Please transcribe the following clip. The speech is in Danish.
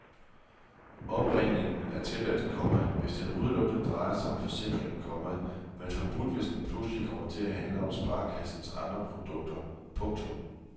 Opringningen er tilladt, komma hvis den udelukkende drejer sig om forsikring, komma men forbudt hvis den pludselig kommer til at handle om sparekassens andre produkter. punktum